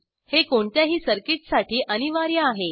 हे कोणत्याही सर्किटसाठी अनिवार्य आहे